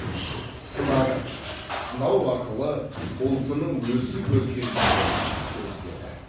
сынады сынау арқылы ұлтының өсіп өркендегенін көздеді